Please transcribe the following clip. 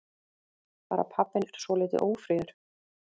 Bara pabbinn er svolítið ófríður.